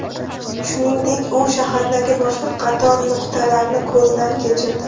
Shuningdek, u shahardagi boshqa qator nuqtalarni ko‘zdan kechirdi.